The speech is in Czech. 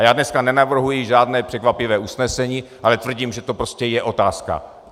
A já dneska nenavrhuji žádné překvapivé usnesení, ale tvrdím, že to prostě je otázka.